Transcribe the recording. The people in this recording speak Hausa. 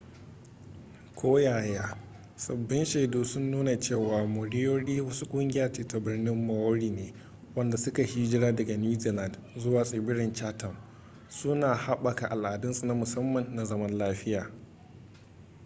koyaya sabbin shaidu sun nuna cewa moriori wasu kungiya ce ta birnin maori ne wanda suka yi hijira daga new zealand zuwa tsibirin chatham suna haɓaka al'adunsu na musamman na zaman lafiya